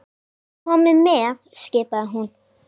Komiði með! skipaði hún.